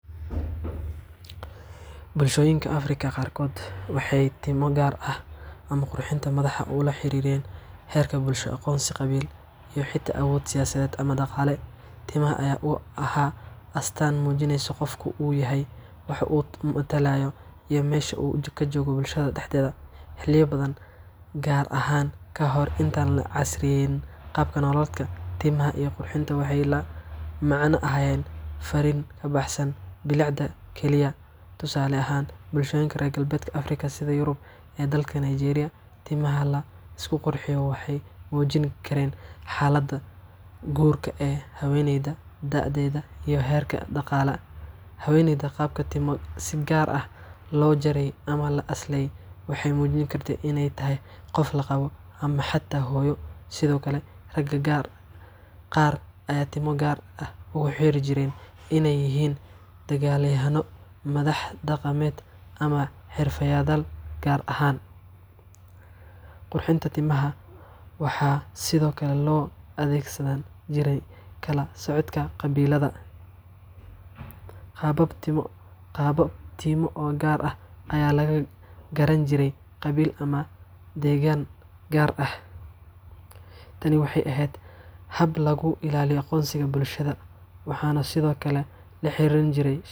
Bulshooyinka Afrika qaarkod waxay tiimo gar ah ama qurxinta madaxa ula xeriireen heerka bulsho aqon Qabil iyo xita awood siyasadeed ama daqaale. Timaha aya u ahaa astan mujineyso qofka u yahay wax u matalaayo i mesha u kajogo bulshada daxdeeda xiliya badan gar ahan kahor inta an lacasriyeynin qabka nolaleedka timaha iyo qurxinta waxay la macna ahayeen farin kabaxsan biliicda kaliya, Tusale ahan bulshoyinka rer gabledka sida Yurub dalka Nigeria timaha laisku qurxiyo waxay mujinkaren xalada guurka ee haweneeyda dadeda iyo herka daqaala haweeneyda si gar ah lo jaray ama laaslay waxay muujin kartay inay tahay qof la qabo ama xata Hoyo, sido kale Raga qar aya tiimo gaar ah u xerijiren in ay yahin dagal yahano ama madax daqameed ama xerfadayaal gar ahan. Qurxinta timaha waxa sido kale lo adeegsadan jiray kala socodka qabilada. Qabab timo o gar aah aya lagagaran jiray qabil ama deegan gar ah, tani waxay eheed hab lagu ilaaliyo aqonsiga bulshada waxana sido kale laxeriran jiray.